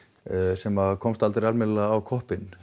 sem að komst aldrei almennilega á koppinn